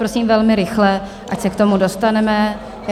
Prosím velmi rychle, ať se k tomu dostaneme.